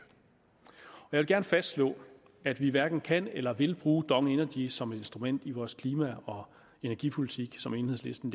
jeg fastslå at vi hverken kan eller vil bruge dong energy som et instrument i vores klima og energipolitik som enhedslisten